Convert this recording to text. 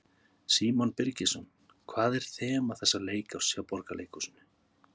Símon Birgisson: Hvað er þema þessa leikárs hjá Borgarleikhúsinu?